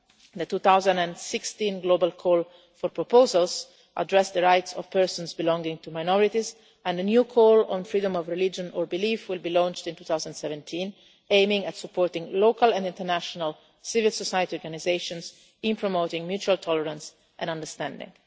The 2016 global call for proposals addressed the rights of persons belonging to minorities, and the new call on freedom of religion or belief will be launched in 2017, aiming at supporting local and international civil society organisations in promoting mutual tolerance and understanding.